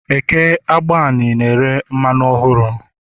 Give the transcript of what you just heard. Eke agbani ahịa na-ere mmanụ ọhụrụ